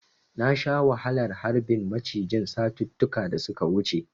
Na sha wahalar harbin macijin satuttuka da suka wuce.